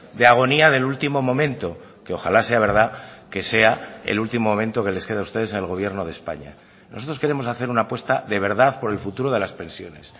de agonía del último momento que ojala sea verdad que sea el último momento que les queda a ustedes en el gobierno de españa nosotros queremos hacer una apuesta de verdad por el futuro de las pensiones